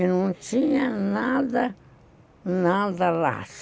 E não tinha nada, nada lá.